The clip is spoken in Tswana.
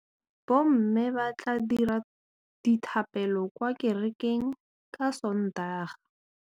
Bommê ba tla dira dithapêlô kwa kerekeng ka Sontaga.